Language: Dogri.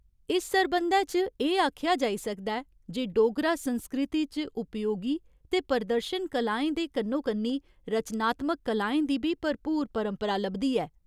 इस सरबंधै च एह् आखेआ जाई सकदा ऐ जे डोगरा संस्कृति च उपयोगी ते प्रदर्शन कलाएं दे कन्नो कन्नी रचनात्मक कलाएं दी बी भरपूर परंपरा लभदी ऐ।